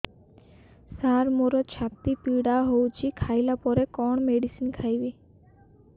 ସାର ମୋର ଛାତି ପୀଡା ହଉଚି ଖାଇବା ପରେ କଣ ମେଡିସିନ ଖାଇବି